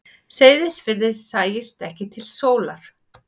Seyðisfirði sæist ekki til sólar.